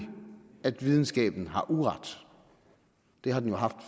at videnskaben har uret det har den jo haft